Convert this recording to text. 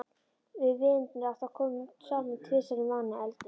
Við vinirnir átta komum saman tvisvar í mánuði og eldum.